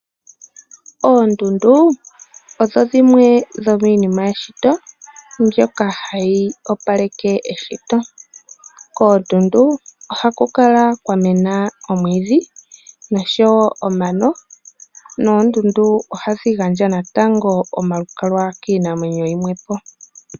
Oondundu odho dhimwe dhomiinima yeshito mbyoka hadhi opaleke eshito. Koondundu ohaku kala kwamena omwiidhi noshowo omano. Oondundu ohadhi gandja omalukalwa kiinamwenyo yimwe po.